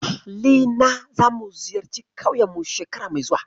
Ahli na zamu ziyarci ƙauyen mu shekara mai zuwa.